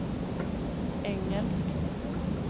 engelsk